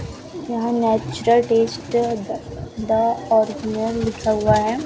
यहां natural taste the the original लिखा हुआ है।